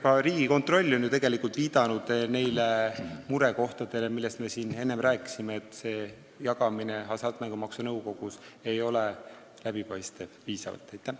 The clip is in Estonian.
Ka Riigikontroll on ju tegelikult viidanud neile murekohtadele, millest me siin enne rääkisime, et raha jagamine ei ole Hasartmängumaksu Nõukogus piisavalt läbipaistev.